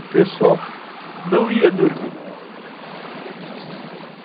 O pessoal não ia dormir.